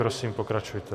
Prosím, pokračujte.